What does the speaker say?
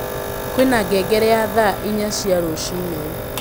kwĩna ngengere ya thaa inya cia rũcinĩ